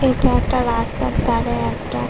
এটা একটা রাস্তার ধারে একটা--